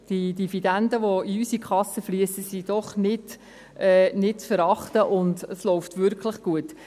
Die Dividenden, welche in unsere Kasse fliessen, sind doch nicht zu verachten, und es läuft wirklich gut.